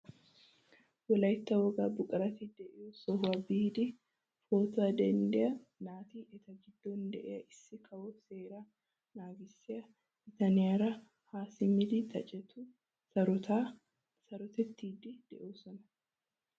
Wolaytta wogaa buqurati de'iyoo sohuwaa biidi pootuwaa denddiyaa naati eta giddon de'iyaa issi kawo seeraa nagissiyaa bitaniyaara ha simmidi xaacetu sarotaa sarottiidi de'oosona!